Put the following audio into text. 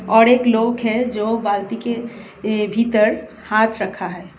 और एक लोग है जो बाल्टी के भीतर हाथ रखा है।